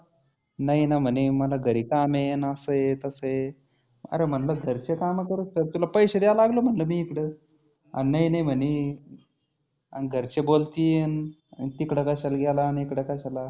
नाही ना म्हणी मला घरी काम आहे असं आहे तसं आहे. आरे म्हटलं घरचे काम करुस्तर तुला पैसे द्यायला लागलो ना मी इकडं. आन नही नाही म्हणी आनं घरचे बोलतील आन तिकडं कशाला गेला अनं इकडं कशाला.